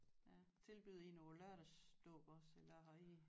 Ja tilbyder I noget lørdagsdåb også eller har I